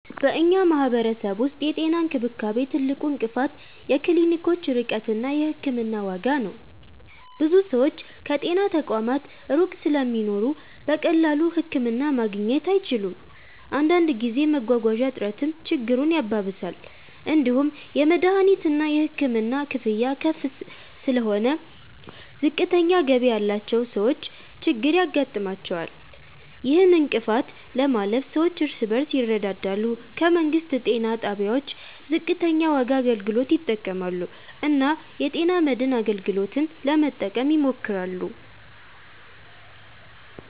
በእኛ ማህበረሰብ ውስጥ የጤና እንክብካቤ ትልቁ እንቅፋት የክሊኒኮች ርቀት እና የሕክምና ዋጋ ነው። ብዙ ሰዎች ከጤና ተቋማት ሩቅ ስለሚኖሩ በቀላሉ ህክምና ማግኘት አይችሉም። አንዳንድ ጊዜ መጓጓዣ እጥረትም ችግሩን ያባብሳል። እንዲሁም የመድሀኒትና የሕክምና ክፍያ ከፍ ስለሆነ ዝቅተኛ ገቢ ያላቸው ሰዎች ችግር ያጋጥማቸዋል። ይህን እንቅፋት ለማለፍ ሰዎች እርስ በርስ ይረዳዳሉ፣ ከመንግስት ጤና ጣቢያዎች ዝቅተኛ ዋጋ አገልግሎት ይጠቀማሉ እና የጤና መድን አገልግሎትን ለመጠቀም ይሞክራሉ።